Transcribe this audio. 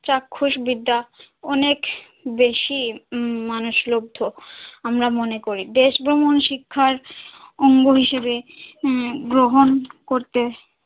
চাক্ষুষ বিদ্যা অনেক বেশি উম মানুষলব্ধ আমরা মনে করি দেশ ভ্রমণ শিক্ষার অঙ্গ হিসেবে আহ গ্রহণ করতে,